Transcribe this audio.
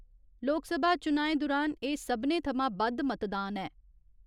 लोकसभा चुनाएं दुरान एह् सब्भने थमां बद्द मतदान ऐ।